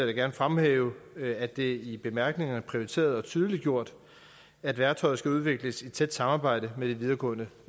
jeg gerne fremhæve at det i bemærkningerne er prioriteret og tydeliggjort at værktøjet skal udvikles i tæt samarbejde med de videregående